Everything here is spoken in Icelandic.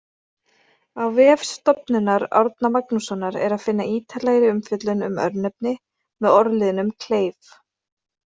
Á vef Stofnunar Árna Magnússonar er að finna ítarlegri umfjöllun um örnefni með orðliðnum-kleif.